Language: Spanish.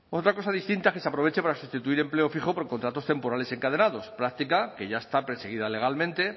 otra cosa distinta es que se aproveche para sustituir empleo fijo por contratos temporales encadenados práctica que ya está perseguida legalmente